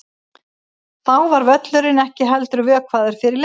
Þá var völlurinn ekki heldur vökvaður fyrir leik.